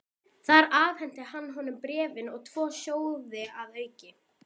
Þar afhenti hann honum bréfin og tvo sjóði að auki.